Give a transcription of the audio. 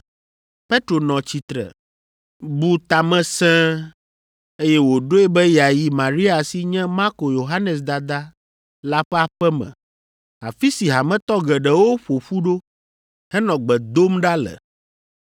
Petro nɔ tsitre, bu ta me sẽe, eye wòɖoe be yeayi Maria si nye Marko Yohanes dada la ƒe aƒe me, afi si hametɔ geɖewo ƒo ƒu ɖo, henɔ gbe dom ɖa le.